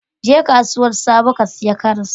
Je kasuwar sabo ka sayi karas.